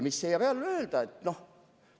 Mida selle peale öelda?